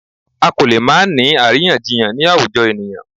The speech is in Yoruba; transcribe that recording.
A kò lè máà ńi àríyànjiyàn ni àwùjọ ènìyàn.